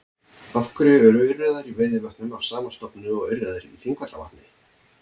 Af hverju eru urriðar í Veiðivötnum af sama stofni og urriðar í Þingvallavatni?